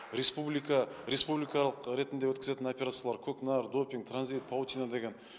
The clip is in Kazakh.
республикалық ретінде өткізетін операциялар көкнар допинг транзит паутина деген